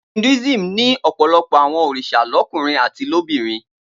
Hinduism ní ọ̀pọ̀lọpọ̀ àwọn òrìṣà lọ́kùnrin àti lóbìnrin.